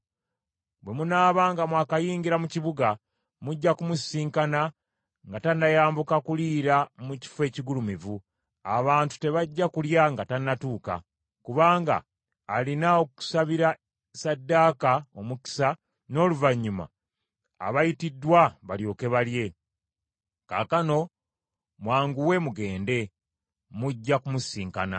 Bwe munaaba nga mwakayingira mu kibuga, mujja kumusisinkana nga tannayambuka kuliira mu kifo ekigulumivu. Abantu tebajja kulya nga tannatuuka, kubanga alina okusabira ssaddaaka omukisa n’oluvannyuma abayitiddwa balyoke balye. Kaakano mwanguwe mugende, mujja kumusisinkana.”